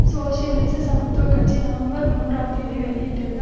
சோசியலிச சமத்துவ கட்சி நவம்பர் மூன்றாம் தேதி வெளியிட்டிருந்த